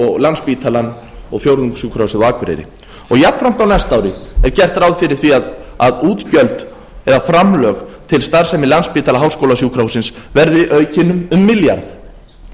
og landspítalann og fjórðungssjúkrahúsið á akureyri jafnframt á næsta ári er gert ráð fyrir því að útgjöld eða framlög til starfsemi landspítala háskólasjúkrahússins verði aukin um milljarð